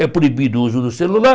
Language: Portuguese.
É proibido o uso do celular.